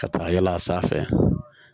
Ka taa yala a sanfɛ